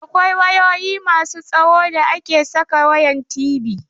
Akwai wayoyi masu tsawo da ake saka wayan TV.